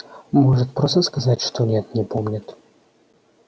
может просто сказать что нет не помнит